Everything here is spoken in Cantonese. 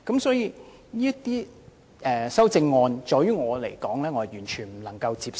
對於這些修正案，我完全無法接受。